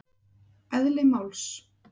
Eðli máls